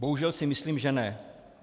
Bohužel si myslím že ne.